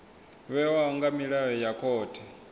vhewaho nga milayo ya khothe